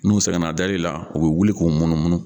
N'u sɛgɛnna dari la u bɛ wuli k'u munumunu.